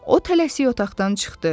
O tələsi otaqdan çıxdı.